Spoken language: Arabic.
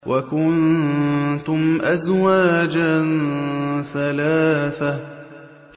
وَكُنتُمْ أَزْوَاجًا ثَلَاثَةً